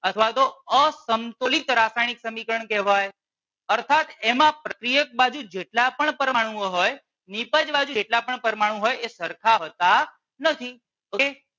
અથવા તો અસંતુલિત રાસાયણિક સમીકરણ કહેવાય અર્થાત એમાં પ્રક્રિયક બાજુ જેટલા પણ પરમાણુ હોય નિપજ બાજુ જેટલા પણ પરમાણુ હોય એ સરખા હોતા નથી. okay